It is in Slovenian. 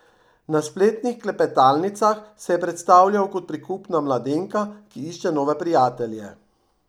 Na spletnih klepetalnicah se je predstavljal kot prikupna mladenka, ki išče nove prijatelje.